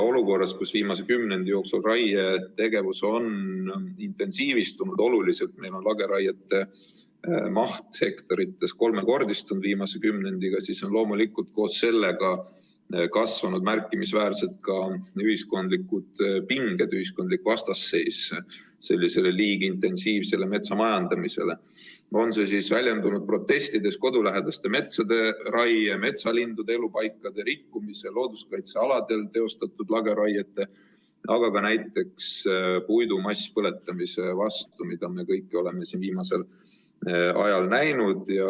Olukorras, kus viimase kümnendi jooksul on raietegevus oluliselt intensiivistunud, lageraiete maht hektarites on viimase kümnendiga kolmekordistunud, on loomulikult koos sellega märkimisväärselt kasvanud ka ühiskondlikud pinged, ühiskondlik vastasseis liigintensiivsele metsamajandamisele, on see siis väljendunud protestides kodulähedaste metsade raie, metsalindude elupaikade rikkumise, looduskaitsealadel teostatud lageraiete või ka näiteks puidu masspõletamise vastu, mida me kõiki oleme viimasel ajal näinud.